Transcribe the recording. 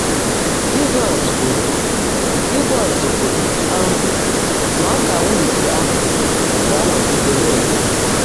Jị́zọ́s kwùrú Jị́zọ́s kwùrú um ná ọ́ká wịt áhụ́ gá-ánọ́gídé ná-ètó.